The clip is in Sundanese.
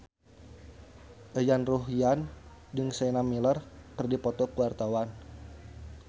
Yayan Ruhlan jeung Sienna Miller keur dipoto ku wartawan